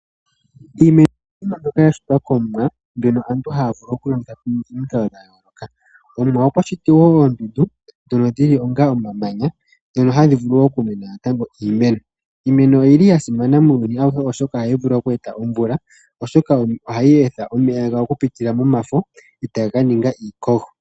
Iimeno mbyoka ya shitwa kOmuwa mbyono aantu haya vulu okulongitha pamikalo dha yooloka. Omuwa okwa shiti wo oondundu ndhono dhi li onga omamanya, hono haku vulu natango okumena iimeno. Iimeno oya simana muuyuni auhe, oshoka ohayi vulu oku eta omvula, oshoka ohayi etha omeya gayo okupitila momafo e taga ka ninga iikogo.